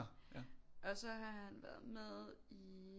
Og så har han været med i